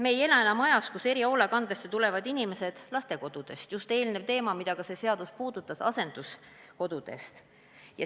Me ei ela enam ajal, kui erihoolekandesse tulid inimesed lastekodust ja – just eelnev teema, mida ka see seadus puudutas – asenduskodust.